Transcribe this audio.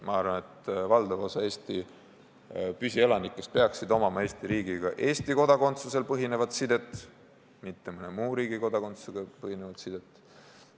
Ma arvan, et valdav osa Eesti püsielanikest peaksid omama Eesti riigiga Eesti kodakondsusel põhinevat sidet, mitte mõne muu riigi kodakondsusel põhinevat sidet.